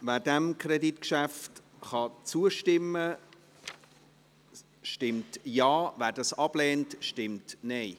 Wer diesem Kreditgeschäft zustimmen kann, stimmt Ja, wer es ablehnt, stimmt Nein.